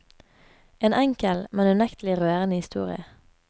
En enkel, men unektelig rørende historie.